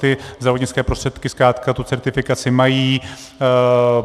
Ty zdravotnické prostředky zkrátka tu certifikaci mají.